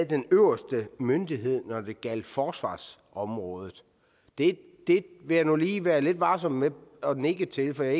den øverste myndighed når det gælder forsvarsområdet det vil jeg nu lige være lidt varsom med at nikke til for jeg